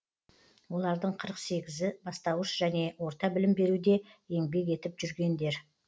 олардың қырық сегізі бастауыш және орта білім беруде еңбек етіп жүргендер